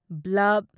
bulb